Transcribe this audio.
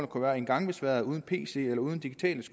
kunne være en gangbesværet uden pc eller uden digitale